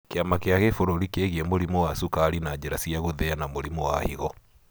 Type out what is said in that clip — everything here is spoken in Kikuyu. Kĩama kĩa kĩbũrũri kĩgie mũrimũ wa cukari na njĩra gũthĩa na mũrimũ wa higo.